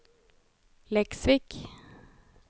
Leksvik